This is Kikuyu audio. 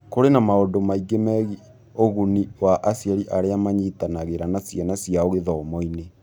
Kũrĩ na maũndũ mangĩ megiĩ ũguni wa aciari arĩa manyitanagĩra na ciana ciao gĩthomo-inĩ.